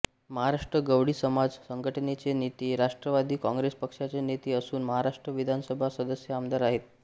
महाराष्ट्र गवळी समाज संघटनेचे नेते राष्ट्रवादी काँग्रेस पक्षाचे नेते असून महाराष्ट्र विधानसभा सदस्य आमदार आहेत